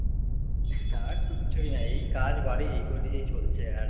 কাজ কিচ্ছুই না, এই কাজ বাড়ি এই করেই চলছে আর